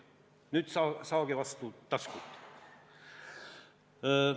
Nüüd saage vastu taskut!